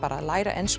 læra ensku